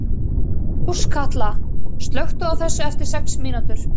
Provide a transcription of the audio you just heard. Áskatla, slökktu á þessu eftir sex mínútur.